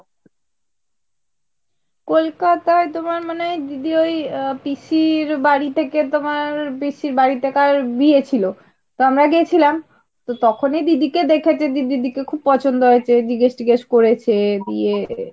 কলকাতায় তোমার মানে দিদি ওই পিসি এর বাড়িতে গিয়ে পিসির বাড়িতে কার বিয়ে ছিল তো আমরা গেছেলাম। তো তখনি দিদিকে দেখেছে দিদির দিকে খুব পছন্দ হয়েছে , জিজ্ঞেস টিগেস করেছে।